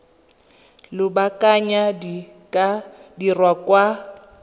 lobakanyana di ka dirwa kwa